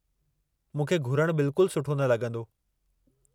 मूंखे घुरणु बिल्कुल सुठो न लगं॒दो।